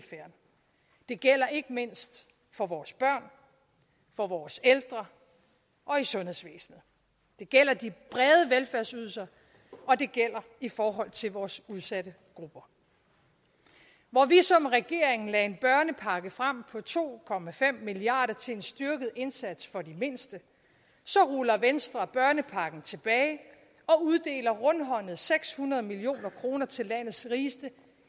gælder ikke mindst for vores børn for vores ældre og i sundhedsvæsenet det gælder de brede velfærdsydelser og det gælder i forhold til vores udsatte grupper hvor vi som regering lagde en børnepakke frem på to milliard kroner til en styrket indsats for de mindste så ruller venstre børnepakken tilbage og uddeler rundhåndet seks hundrede million kroner til landets rigeste